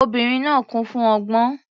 Obìnrin náà kún fún ọgbọ́n.